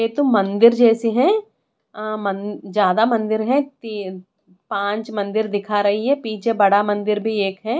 ये तो मंदिर जैसी है अ मं ज्यादा मंदिर है तीन पांच मंदिर दिखा रही है पीछे बड़ा मंदिर भी एक है।